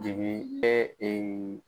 Jigin ɛ ee